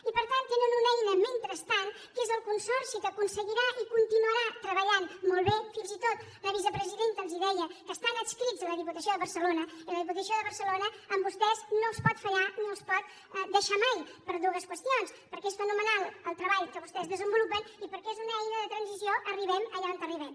i per tant tenen una eina mentrestant que és el consorci que ho aconseguirà i continuarà treballant molt bé fins i tot la vicepresidenta els ho deia que estan adscrits a la diputació de barcelona i la diputació de barcelona a vostès no els pot fallar ni els pot deixar mai per dues qüestions perquè és fenomenal el treball que vostès desenvolupen i perquè és una eina de transició arribem allà on arribem